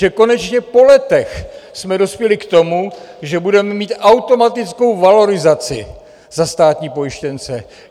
Že konečně po letech jsme dospěli k tomu, že budeme mít automatickou valorizaci za státní pojištěnce.